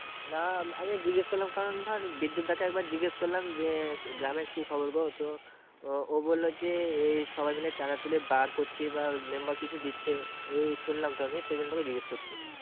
না আমি জিজ্ঞাস করলাম কারণ ধর বিদ্যুৎ দা কে একবার জিজ্ঞাস করলাম যে গ্রামের কি খবর গো তো আহ ও বললো যে এই সবাই মিলে চাঁদা তুলে bar করছি এবার member কিছু দিচ্ছে। এই শুনলাম তো আমি সেই জন্য তোকে জিজ্ঞাস করছি।